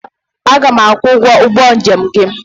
Aga m akwụ ụgwọ ụgbọ njem gị.